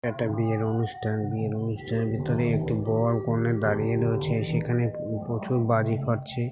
একটা অনুষ্ঠান বিয়ের অনুষ্ঠান বিয়ের অনুষ্ঠানের ভিতরে একটি বর কনে দাঁড়িয়ে রয়েছে সেখানে উ-প্রচুর বাজি ফাটছে।